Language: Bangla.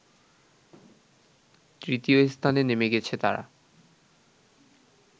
তৃতীয় স্থানে নেমে গেছে তারা